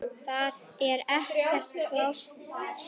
Það er ekkert pláss þar.